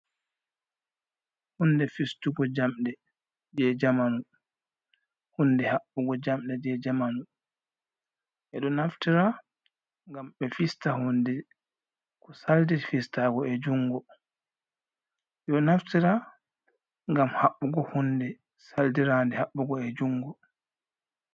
Hunde fistugo jamɗe je jamanu, hunde haɓɓugo jamɗe je jamanu ɓeɗo naftira ngam ɓe fista hunde ko saldir fistago be jungo, ɓeɗo naftira ngam haɓɓugo hunde saldira nde haɓɓugo e jungo.